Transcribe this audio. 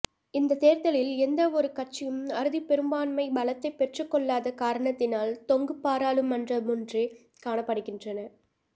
இந்த தேர்தலில் எந்தவொரு கட்சியும் அறுதிப் பெரும்பான்மை பலத்தைப் பெற்றுக்கொள்ளாத காரணத்தினால் தொங்கு பாராளுமன்றமொன்றே காணப்படுகின்றது